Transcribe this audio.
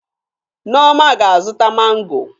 Nneoma ga-azụta mangọ.